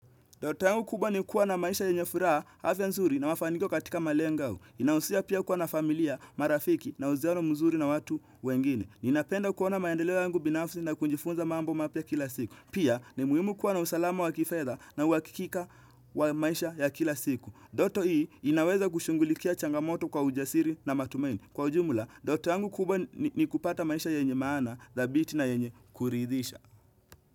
Ndoto yangu kubwa ni kuwa na maisha yenye furaha, hafya nzuri na wafanikio katika malengo hua. Inahusia pia kuwa na familia, marafiki na huziano mzuri na watu wengine. Ninapenda kuona maendeleo yangu binafsi na kujifunza mambo mapya kila siku. Pia, ni muhimu kuwa na usalama wa kifedha na uhakikika wa maisha ya kila siku. Ndoto hii, inaweza kushunghulikia changamoto kwa ujasiri na matumaini. Kwa ujumla, ndoto yangu kubwa ni kupata maisha yenye maana, thabiti na yenye kuridhisha.